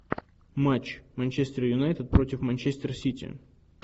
матч манчестер юнайтед против манчестер сити